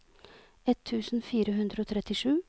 ett tusen fire hundre og trettisju